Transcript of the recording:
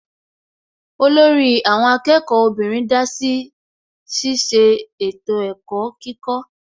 Olórí àwọn akẹ́kọ̀ọ́ obìnrin dásí ṣiṣẹ́ ètò ẹ̀kọ́ kíkọ́